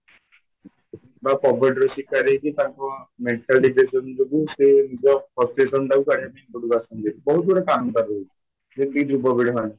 ବା ଶିକାର ହେଇଚି ତାଙ୍କ mental depression ଯୋଗୁଁ ସେ ନିଜ frustration ଟାକୁ କାଢ଼ିବା ପାଇଁ ଏ ପଟ କୁ ଆସନ୍ତି ବହୁତ ଗୁଡ଼େ କାରଣ ରହୁଛି ଏଇ ଯୁବପିଢ଼ ମାନେ